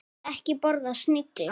Ég vil ekki borða snigla.